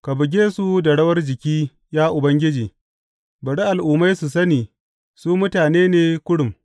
Ka buge su da rawar jiki, ya Ubangiji; bari al’ummai su sani su mutane ne kurum.